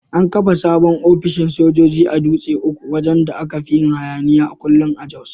An kafa sabon ofishin sojoji a Dutse uku wajan da aka fin yin hayaniya kullum a Jos.